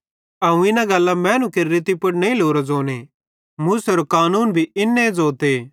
अवं इना गल्लां मैनू केरि रीति पुड़ नईं लोरो ज़ोने मूसेरो कानून भी इन्ने ज़ोते